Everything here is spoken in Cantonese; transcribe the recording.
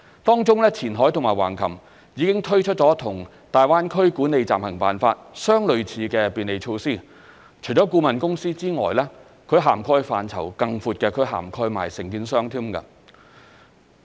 當中，前海和橫琴已推出與大灣區《管理暫行辦法》相類似的便利措施，除顧問公司外，其涵蓋範疇更闊，亦涵蓋承建商。